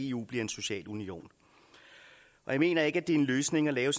eu bliver en social union jeg mener ikke at det er en løsning at lave